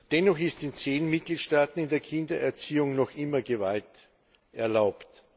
Dennoch ist in zehn Mitgliedstaaten in der Kindererziehung noch immer Gewalt erlaubt.